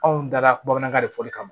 Anw dara bamanankan de fɔli kama